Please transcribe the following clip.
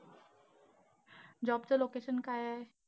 Job चं location काय आहे?